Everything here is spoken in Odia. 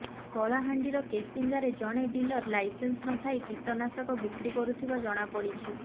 କଳାହାଣ୍ଡିର କେସିଙ୍ଗାରେ ଜଣେ ଡିଲର ଲାଇସେନ୍ସ ନଥାଇ କୀଟନାଶକ ବିକ୍ରି କରୁଥିବା ଜଣାପଡିଛି